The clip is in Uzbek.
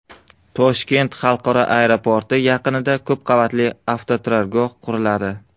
Toshkent xalqaro aeroporti yaqinida ko‘p qavatli avtoturargoh quriladi.